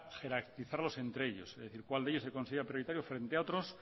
jerarquizarlos entre ellos es decir cuál de ellos se considera prioritario frente a otros